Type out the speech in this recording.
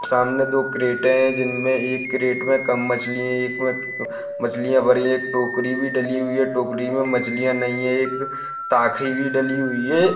सामने दो क्रेटे है जीनमे एक क्रीट मे कम मछली है एक मे मछलिया भरी है एक टोकरी भी डली हुई है टोकरी मे मछलिया नहीं है एक ताखी भी डली हुई है और--